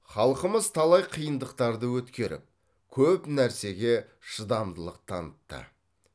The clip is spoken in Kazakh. халқымыз талай қиындықтарды өткеріп көп нәрсеге шыдамдылық танытты